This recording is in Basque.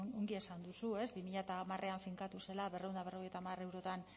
ongi esan duzu ez bi mila hamarrean finkatu zela berrehun eta berrogeita hamar eurotan